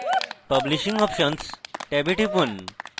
publishing options ট্যাবে টিপুন